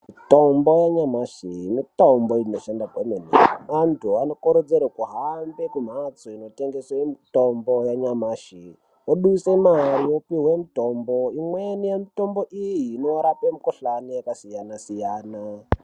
Mitombo yanyamashi mitombo inoshanda kwemene antu anokurudzirwa kuhambe kumbatso kumbatso dzinotengeserwa mutombo yanyamashi woburitsa mari wopiwa mutombo imweni yemitombo iyi inorapa mikuhlani yakasiyana siyana.